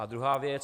A druhá věc.